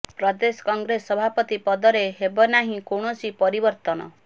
ପ୍ରଦେଶ Congress ସଭାପତି ପଦରେ ହେବ ନାହିଁ କୌଣସି ପରିବର୍ତନ